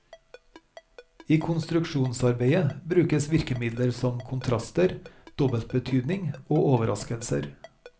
I konstruksjonsarbeidet brukes virkemidler som kontraster, dobbeltbetydning og overraskelser.